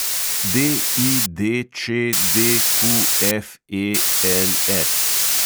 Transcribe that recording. DIDČDQFELS